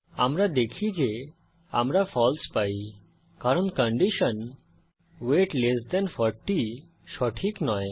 আমরা দেখি যে আমরা ফালসে পাই কারণ কন্ডিশন ওয়েট 40 সঠিক নয়